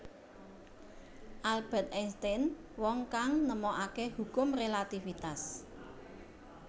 Albert Einstein Wong kang nemokake hukum relatifitas